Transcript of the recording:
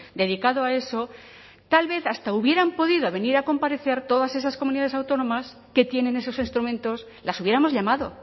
dedicado a eso tal vez hasta hubieran podido venir a comparecer todas esas comunidades autónomas que tienen esos instrumentos las hubiéramos llamado